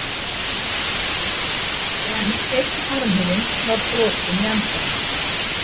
En einn armurinn var brotinn í endann.